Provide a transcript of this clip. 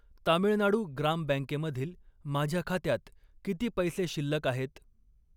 तामिळनाडू ग्राम बँकेमधील माझ्या खात्यात किती पैसे शिल्लक आहेत?